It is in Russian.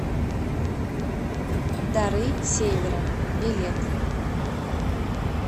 дары севера билет